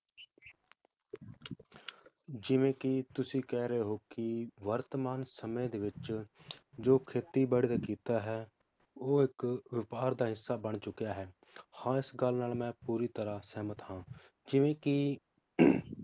ਜਿਵੇ ਕੀ ਤੁਸੀਂ ਕਹਿ ਰਹੇ ਹੋ ਕੀ ਵਰਤਮਾਨ ਸਮੇ ਦੇ ਵਿਚ ਜੋ ਖੇਤੀ ਬਾੜੀ ਦਾ ਕੀਤਾ ਹੈ ਉਹ ਇਕ ਵਪਾਰ ਦਾ ਹਿੱਸਾ ਬਣ ਚੁਕਿਆ ਹੈ ਹਾਂ ਇਸ ਗੱਲ ਨਾਲ ਮੈ ਪੂਰੀ ਤਰਾਹ ਸਹਿਮਤ ਹਾਂ ਜਿਵੇ ਕੀ